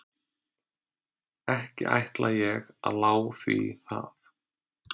Ekki ætla ég að lá því það.